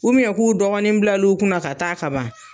k'u dɔgɔnin bila l' u kunna ka taa ka ban